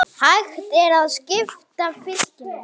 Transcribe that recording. Hjartað grætur, tár renna.